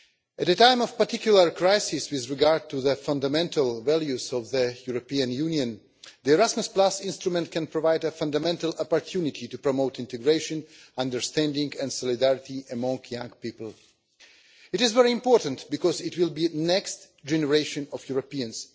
At a time of particular crisis with regard to the fundamental values of the European Union, the Erasmus instrument can provide a fundamental opportunity to promote integration, understanding and solidarity among young people. It is very important because they will be the next generation of Europeans.